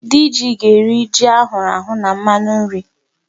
Diji ga-eri ji a hụrụ ahụ na mmanụ nri.